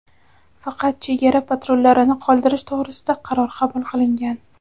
faqat chegara patrullarini qoldirish to‘g‘risida qaror qabul qilingan.